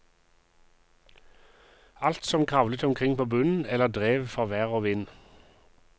Alt som kravlet omkring på bunnen eller drev for vær og vind.